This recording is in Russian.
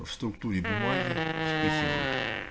в структуре бумаги вспыхивают